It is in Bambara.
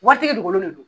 Watigi dukolo de don